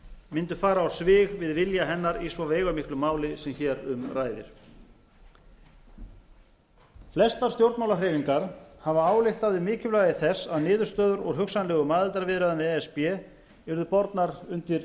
mundu fara á svig við vilja hennar í svo veigamiklu máli sem hér um ræðir flestar stjórnmálahreyfingar hafa ályktað um mikilvægi þess að niðurstöður úr hugsanlegum aðildarviðræðum við e s b yrðu bornar undir